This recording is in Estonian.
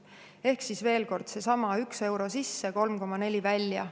Ehk siis veel kord: seesama 1 euro sisse, 3,4 välja.